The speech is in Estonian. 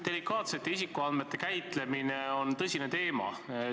Delikaatsete isikuandmete käitlemine on tõsine teema.